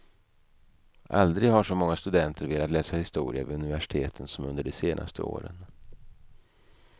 Aldrig har så många studenter velat läsa historia vid universiteten som under de senaste åren.